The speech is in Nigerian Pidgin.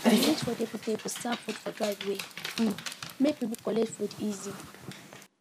dem use foldable tables serve food for driveway um make people collect food easy